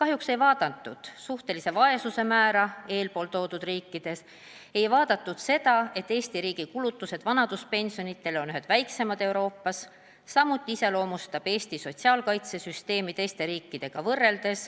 Kahjuks ei vaadatud suhtelise vaesuse määra eespool toodud riikides, ei vaadatud seda, et Eesti riigi kulutused vanaduspensionidele on ühed väikseimad Euroopas, samuti iseloomustab Eesti sotsiaalkaitsesüsteemi teiste riikidega võrreldes